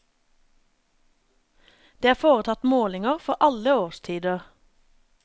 Det er foretatt målinger for alle årstider.